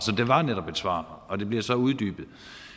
det var netop et svar og det bliver så uddybet